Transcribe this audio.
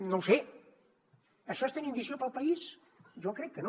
no ho sé això és tenir ambició pel país jo crec que no